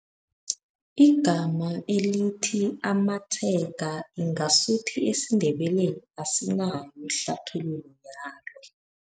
Igama elithi amatshega ngasuthi esiNdebeleni asinayo ihlathululo yalo.